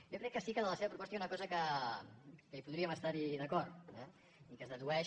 jo crec que sí que de la seva proposta hi ha una cosa en què podríem estar d’acord eh i que es dedueix